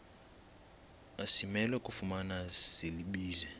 asimelwe kufumana silibize